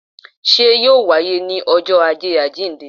Sé yóò wá ní ọjọ́ ajé àjíìnde?